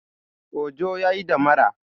Ojo ya yi damara